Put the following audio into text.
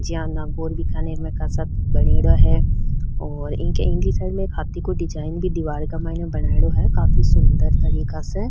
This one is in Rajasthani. जिया नागौर बीकानेर में खासा बनेड़ो हैऔर इनके इनके साइड में हाथी को डिजाइन भी दीवार का माइने बनाईडो है काफी सुन्दर तरीको से।